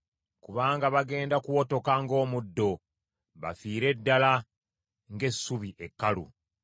Kubanga bagenda kuwotoka ng’omuddo, bafiire ddala ng’essubi ekkalu.